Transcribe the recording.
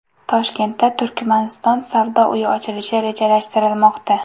Toshkentda Turkmaniston savdo uyi ochilishi rejalashtirilmoqda.